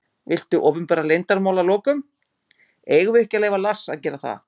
Viltu opinbera leyndarmál að lokum: Eigum við ekki að leyfa Lars að gera það?